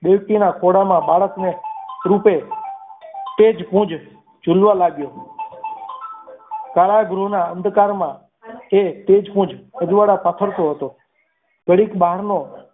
દેવકીના ખોળામાં બાળકને તૂટે તે જ ગુંજ ઝૂલવા લાગ્યો કાળા ગૃહના અંધકારમાં તે તે જ ગુંજ અજવાળા પાથરતો હતો ઘડીક બારનો